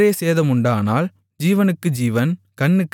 வேறே சேதமுண்டானால் ஜீவனுக்கு ஜீவன்